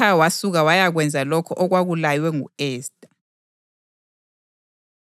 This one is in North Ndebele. Ngakho uModekhayi wasuka wayakwenza lokho okwakulaywe ngu-Esta.